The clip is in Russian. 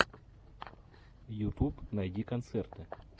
ютуб найди концерты